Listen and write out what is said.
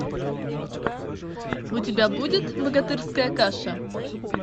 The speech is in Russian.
у тебя будет богатырская каша